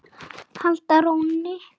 halda rónni.